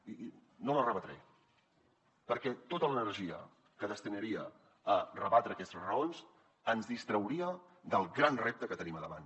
i no les rebatré perquè tota l’energia que destinaria a rebatre aquestes raons ens distrauria del gran repte que tenim davant